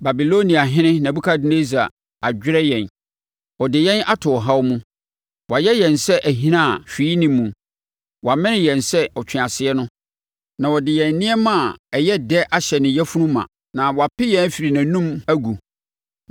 “Babiloniahene Nebukadnessar adwerɛ yɛn, ɔde yɛn ato ɔhaw mu, wayɛ yɛn sɛ ahina a hwee nni muo. Wamene yɛn sɛ ɔtweaseɛ no na ɔde yɛn nneɛma a ɛyɛ dɛ ahyɛ ne yafunu ma, na wape yɛn afiri nʼanom agu.